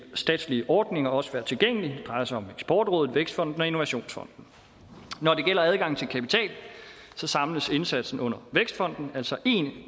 statslige ordninger også være tilgængelige det drejer sig om eksportrådet vækstfonden og innovationsfonden når det gælder adgangen til kapital samles indsatsen under vækstfonden altså én